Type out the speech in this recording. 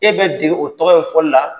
E bɛ dege o tɔgɔ ye fɔl la